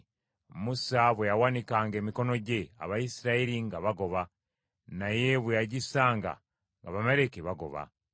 Musa bwe yawanikanga emikono gye, Abayisirayiri nga bagoba, naye bwe yagissanga, nga Abamaleki bagoba.